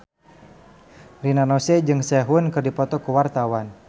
Rina Nose jeung Sehun keur dipoto ku wartawan